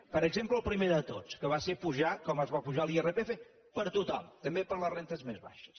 per exemple el primer de tots que va ser apujar com es va apujar l’irpf per a tothom també per a les rendes més baixes